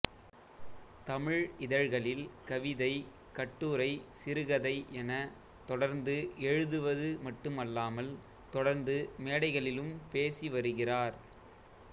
தமிழ் இதழ்களில் கவிதை கட்டுரை சிறுகதை என தொடர்ந்து எழுதுவது மட்டுமல்லாமல் தொடர்ந்து மேடைகளிலும் பேசி வருகிறார்